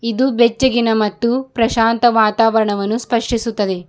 ಇದು ಬೆಚ್ಚಗಿನ ಮತ್ತೂ ಪ್ರಶಾಂತ ವಾತಾವರಣವನ್ನೂ ಸ್ಪಷ್ಟಿಸುತ್ತದೆ.